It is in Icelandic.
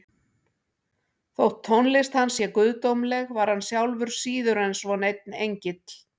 Þótt tónlist hans sé guðdómleg var hann sjálfur síður en svo neinn engill.